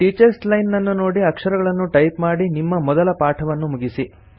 teachers line ನನ್ನು ನೋಡಿ ಅಕ್ಷರಗಳನ್ನು ಟೈಪ್ ಮಾಡಿ ನಿಮ್ಮ ಮೊದಲ ಪಾಠವನ್ನು ಮುಗಿಸಿ